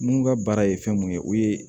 Mun ka baara ye fɛn mun ye o ye